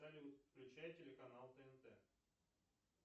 салют включай телеканал тнт